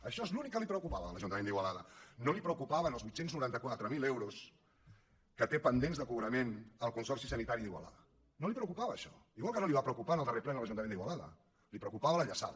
això és l’únic que li preocupava de l’ajuntament d’igualada no li preocupaven els vuit cents i noranta quatre mil euros que té pendents de cobrament el consorci sanitari d’igualada no li preocupava això igual que no li va preocupar en el darrer ple de l’ajuntament d’igualada li preocupava la llaçada